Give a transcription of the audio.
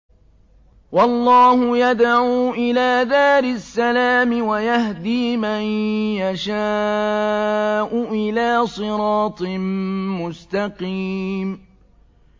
وَاللَّهُ يَدْعُو إِلَىٰ دَارِ السَّلَامِ وَيَهْدِي مَن يَشَاءُ إِلَىٰ صِرَاطٍ مُّسْتَقِيمٍ